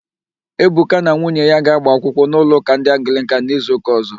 Ebuka na nwunye ya ga-agba akwụkwụ n'ụlọụ́kà ndị Anglịkan n'izuụ́kà ọ̀zọ́.